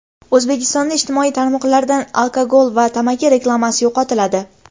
O‘zbekistonda ijtimoiy tarmoqlardan alkogol va tamaki reklamasi yo‘qotiladi .